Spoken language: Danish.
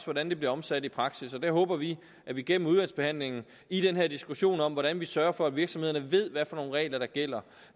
hvordan det bliver omsat i praksis og der håber vi at vi gennem udvalgsbehandlingen i den her diskussion om hvordan vi sørger for at virksomhederne ved hvilke regler der gælder